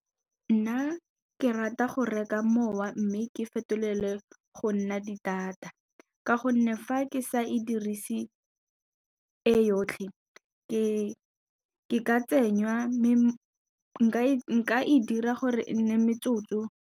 Nna ke rata go reka mowa mme ke fetolele go nna di-data ka gonne fa ke sa e dirise e yotlhe nka e dira gore e nne metsotso.